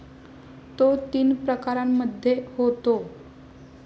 तो तीन प्रकारांमध्ये होतो.